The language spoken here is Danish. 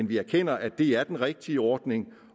vi erkender at det er den rigtige ordning